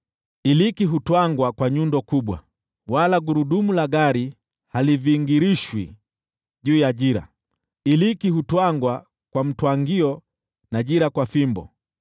Iliki haipurwi kwa nyundo, wala gurudumu la gari halivingirishwi juu ya jira; iliki hupurwa kwa fimbo, na jira kwa ufito.